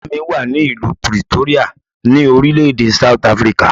Ìyá mi wà ní ìlú Pretoria, ní orílẹ̀ èdè South Africa.